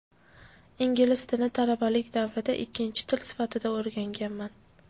Ingliz tilini talabalik davrimda ikkinchi til sifatida o‘rganganman.